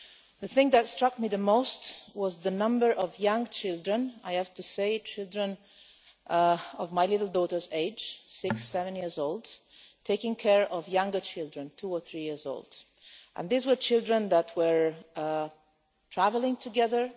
The thing that struck me the most was the number of young children I have to say children of my little daughter's age, six or seven years old taking care of younger children who were two or three years old. These were children who were travelling together.